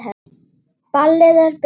Ballið er byrjað.